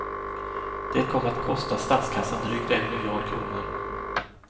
Det kom att kosta statskassan drygt en miljard kronor.